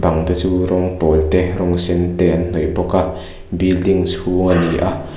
bang te chu rawn pawl te rawng sen te an hnawih bawk a building chhung ani a.